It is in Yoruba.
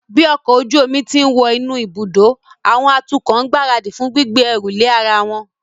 Bí ọkọ̀ ojú omi ti ń wọ inú ibùdó, àwọn atukọ̀ ń gbáradì fún gbígbé ẹrù lé ara wọn